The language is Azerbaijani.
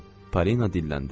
Parina dilləndi.